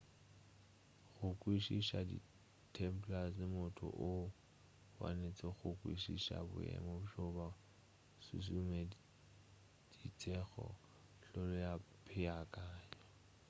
go kwešiša di templars motho o wanetše go kwešiša boemo bjo bo šušumeditšego hlolo ya peakanyo